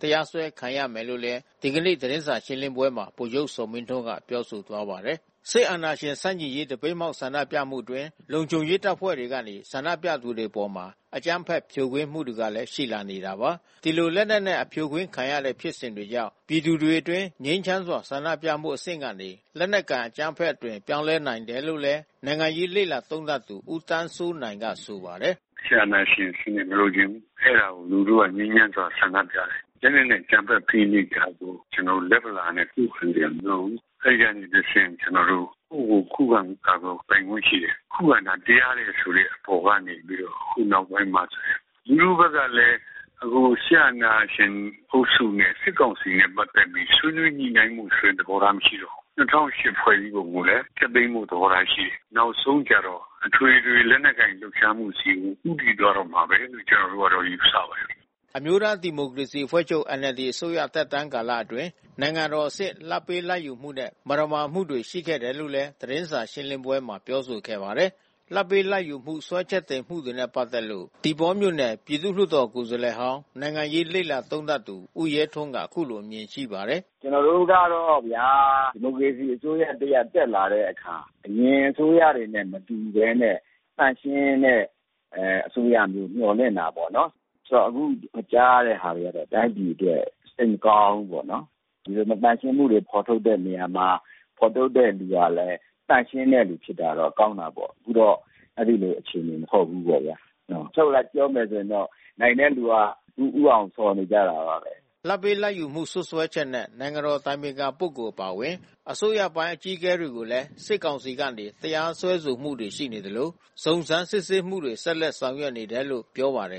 တရားစွဲခံရမယ်လို့လည်း ဒီကနေ့ သတင်းစာ ရှင်းလင်းပွဲမှာ ဗိုလ်ချုပ်ဇော်မင်းထွန်းက ပြောဆိုသွားပါတယ်။ စစ်အာဏာရှင်ဆန့်ကျင်ရေး သပိတ်မှောက် ဆန္ဒပြမှုအတွင်း လုံခြုံရေးတပ်ဖွဲ့တွေကနေ ဆန္ဒပြသူတွေအပေါ် အကြမ်းဖက်ဖြိုခွင်းမှုတွေလည်း ရှိလာနေတာပါ။ ဒီလိုလက်နက်နဲ့ အဖြိုခွင်းခံနေရတဲ့ဖြစ်စဉ်တွေကြောင့် ပြည်သူတွေအတွင်း ငြိမ်းချမ်းစွာဆန္ဒပြမှုအဆင့်ကနေ လက်နက်ကိုင် အကြမ်းဖက်မှု အသွင်ပြောင်းလဲလာနို်င်တယ်လို့လည်း နိုင်ငံရေးလေ့လာသုံးသပ်သူ ဦးသန်းစိုးနိုင်ကဆိုပါတယ်။ “စစ်အာဏာရှင်စနစ်ကို မလိုချင်ဘူး။ အဲဒါကို လူထုကနေငြိမ်းချမ်းစွာ ဆန္ဒပြတယ်။ လက်နက်နဲ့ အကြမ်းဖက်ဖိနှိပ်တာကို ကျနော်တို့ လက်ဗလာနဲ့ ခုခံစရာမလိုဘူး။ အဲဒီကနေတဆင့် ကျနော်တို့ ကိုယ့်ကိုယ်ကို ခုခံကာကွယ်ပိုင်ခွင့်ရှိတယ်။ ခုခံတာ တရားတယ်ဆိုတဲ့အပေါ်ကနေ ပြီးတော့ ဒီနောက်ပိုင်းမှာဆိုရင် လူထုဘက်ကလည်း အခုစစ်အာဏာရှင်အုပ်စုနဲ့ စစ်ကောင်စီနဲ့ ပတ်သက်ပြီး ဆွေးနွေးညှိနှိုင်းမှုဆိုတဲ့ သဘောထားမရှိတော့ဘူး။ ၂၀၀၈ ဖွဲ့စည်းပုံကိုလည်း ဖျက်သိမ်းဖို့ သဘောထားရှိတယ်။ နောက်ဆုံးကျတော့ အထွေထွေလက်နက်ကိုင်လှုပ်ရှားမှုဆီကို ဦးတည်သွားတော့မှာပဲလို့ ကျနော်တို့ကယူဆပါတယ်။" အမျိုးသားဒီမိုကရေစီအဖွဲ့ချုပ် NLD အစိုးရသက်တမ်းကာလအတွင်း နိုင်ငံတော်အဆင့် လာဘ်ပေးလာဘ်ယူမှုနဲ့ မသမာမှုတွေရှိခဲ့တယ်လို့လည်း သတင်းစာရှင်းလင်းပွဲမှာပြောဆိုခဲ့ပါတယ်။ လာဘ်ပေးလာဘ်ယူမှု စွဲချက်တင်မှုတွေနဲ့ ပတ်သက်လို့ သီပေါပြည်သူလွှတ်တော်ကိုယ်စားလှယ်ဟောင်း နိုင်ငံရေး လေ့လာ သုံးသပ်သူ ဦးရဲထွန်းက အခုလိုအမြင်ရှိပါတယ်။ “ကျနော်တို့ကတော့ဗျာ.... ဒီမိုကရေစီအစိုးရ တရပ်တက်လာတဲ့အခါ အရင်အစိုးနဲ့ မတူဘဲနဲ့ သန့်ရှင်းတဲ့အစိုးရ မျှော်လင့်တာပေါ့။ အခုကြားရတဲ့ဟာတွေကတော့ တိုင်းပြည်အတွက် စိတ်မကောင်းဘူးပေါ့နော်။ ဒီလိုမသန့်ရှင်းမှုတွေ ဖော်ထုတ်တဲ့နေရာမှာ ဖော်ထုတ်တဲ့သူကလည်း သန့်ရှင်းတဲ့သူဖြစ်တာတော့ ကောင်းတာပေါ့။ အခုတော့ အဲဒီလိုအခြေအနေမဟုတ်ဘူးပေါ့။ အချုပ်အရ ပြောမယ်ဆိုရင်တော့ နိုင်တဲ့သူက ဦးအောင်ဆော်နေကြတာပါပဲ။” လာဘ်ပေးလာဘ်ယူမှု စွပ်စွဲချက်နဲ့ နိုင်ငံတော်အတိုင်ပင်ခံပုဂ္ဂိုလ်အပါအဝင် အစိုးရပိုင်းအကြီးအကဲတွေကိုလည်း စစ်ကောင်စီကနေ တရားစွဲဆိုမှုတွေ ရှိနေသလို စုံစမ်းစစ်ဆေးမှုတွေကို ဆက်လက်ဆောင်ရွက်နေတယ်လို့ ပြောပါတယ်